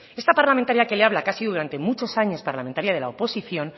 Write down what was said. esta parlamentaria que le habla que ha sido durante muchos años parlamentaria de la oposición